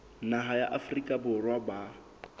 naha ya afrika borwa ba